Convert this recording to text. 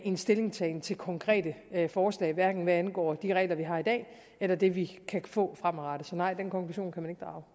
en stillingtagen til konkrete forslag hverken hvad angår de regler vi har i dag eller det vi kan få fremadrettet så nej den konklusion kan